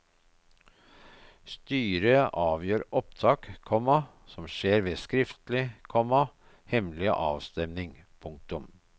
Styret avgjør opptak, komma som skjer ved skriftlig, komma hemmelig avstemming. punktum